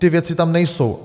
Ty věci tam nejsou.